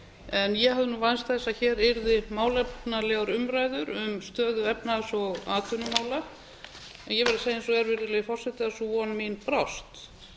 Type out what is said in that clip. en ég hafði vænst þess að hér yrðu málefnalegar umræður um stöðu efnahags og atvinnumála en ég verð að segja eins og er virðulegi forseti að sú von mín brást mér finnst